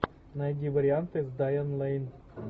найди варианты с дайан лейн